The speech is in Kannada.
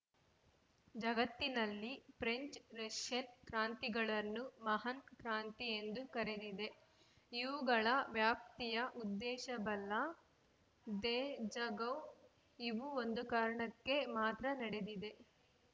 ಜಗತ್ತಿನಲ್ಲಿ ಫ್ರೆಂಚ್‌ರಷ್ಯನ್‌ ಕ್ರಾಂತಿಗಳನ್ನು ಮಹಾನ್‌ಕ್ರಾಂತಿ ಎಂದು ಕರೆದಿದೆ ಇವುಗಳ ವ್ಯಾಪ್ತಿಯ ಉದ್ದೇಶ ಬಲ್ಲ ದೇಜಗೌ ಇವು ಒಂದು ಕಾರಣಕ್ಕೆ ಮಾತ್ರ ನಡೆದಿದೆ